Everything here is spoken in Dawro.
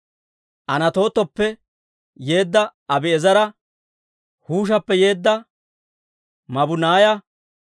Anatootappe yeedda Abi'eezera, Huushappe yeedda Mabunaaya,